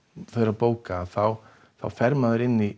bóka fer maður inn í